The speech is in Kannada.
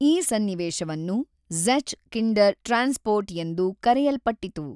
ಈ ಸನ್ನಿವೇಶವನ್ನು ಜ಼ೆಛ್ ಕಿಂಡರ್ ಟ್ರಾನ್ಸಪೋರ್ಟ್ ಎಂದು ಕರೆಯಲ್ಪಟ್ಟಿತು.